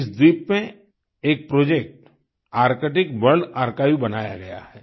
इस द्वीप में एक प्रोजेक्ट आर्क्टिक वर्ल्ड आर्काइव बनाया गया है